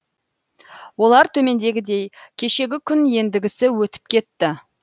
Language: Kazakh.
олар төмендегідей кешегі күн ендігісі өтіп кетті